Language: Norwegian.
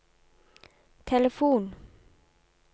telefon